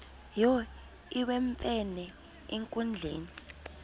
wo iwemfene enkundleni